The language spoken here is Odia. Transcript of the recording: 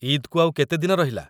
ଇଦ୍‌କୁ ଆଉ କେତେ ଦିନ ରହିଲା?